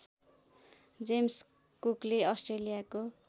James कुकले अस्ट्रेलियाको